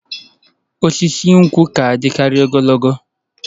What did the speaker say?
Osisi nkwụ na-adịkarị ogologo